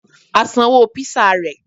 A sanwó pizza rẹ̀